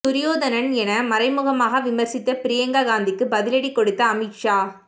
துரியோதனன் என மறைமுகமாக விமர்சித்த பிரியங்கா காந்திக்கு பதிலடி கொடுத்த அமித் ஷா